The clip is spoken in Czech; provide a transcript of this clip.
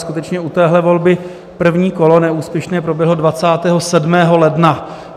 Skutečně, u téhle volby první kolo neúspěšně proběhlo 27. ledna.